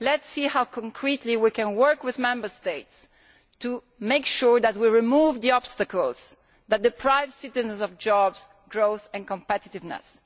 Let us see how concretely we can work with Member States to make sure that we remove the obstacles that deprive citizens of jobs, growth and competitiveness.